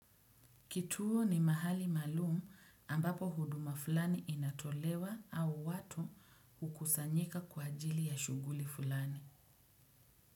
Kituo ni mahali maalumu ambapo huduma fulani inatolewa au watu hukusanyika kwa ajili ya shughuli fulani.